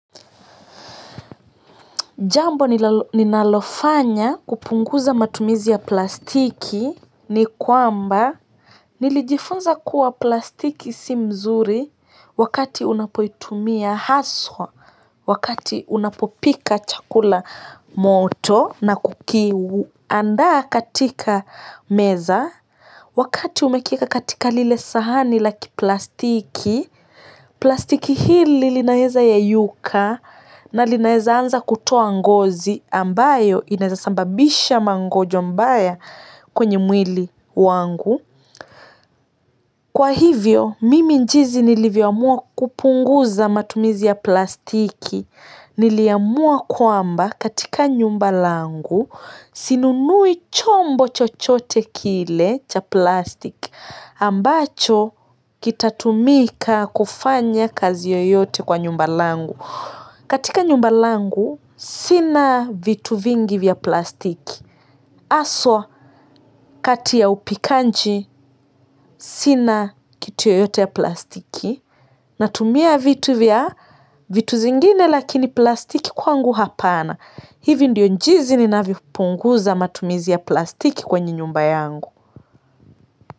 Jambo ninalofanya kupunguza matumizi ya plastiki ni kwamba nilijifunza kuwa plastiki si mzuri wakati unapoitumia haswa wakati unapopika chakula moto na kukiandaa katika meza wakati umekieka katika lile sahani la kiplastiki plastiki hili linaeza yayuka na linaweza anza kutoa ngozi ambayo inaweza sababisha magonjwa baya kwenye mwili wangu kwa hivyo, mimi njizi nilivyoamua kupunguza matumizi ya plastiki. Niliamua kwamba katika nyumba langu sinunui chombo chochote kile cha plastiki. Ambacho kitatumika kufanya kazi yoyote kwa nyumba langu katika nyumba langu sina vitu vingi vya plastiki. Aswa kati ya upikanji sina kitu yoyote ya plastiki natumia vitu vya vitu zingine lakini plastiki kwangu hapana hivi ndiyo njizi ninavyo punguza matumizi ya plastiki kwenye nyumba yangu.